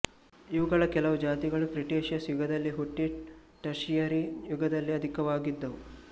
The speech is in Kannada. ಇವುಗಳ ಕೆಲವು ಜಾತಿಗಳು ಕ್ರಿಟೇಷಿಯಸ್ ಯುಗದಲ್ಲಿ ಹುಟ್ಟಿ ಟರ್ಷಿಯರಿ ಯುಗದಲ್ಲಿ ಅಧಿಕವಾಗಿದ್ದುವು